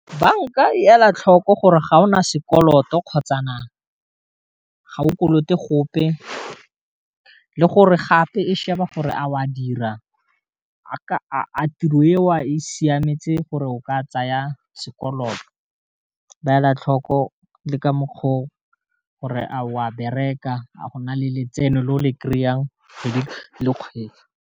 Banka e ela tlhoko gore ga ona sekoloto kgotsa na ga o kolote gope le gore gape e sheba gore a o a dira a ka tiro e wa a e siametse gore o ka tsaya sekoloto, ba ela tlhoko le ka mokgwa o gore a o a bereka a go na le letseno le o le kry-ang kgwedi le kgwedi.